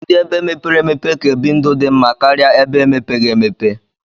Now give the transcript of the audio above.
Ndi ebe mepere emeope ka ebi ndụ di mma karia ebe emepeghi emepe.